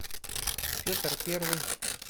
петр первый